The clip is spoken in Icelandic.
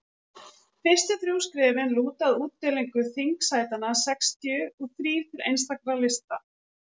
fyrstu þrjú skrefin lúta að útdeilingu þingsætanna sextíu og þrír til einstakra lista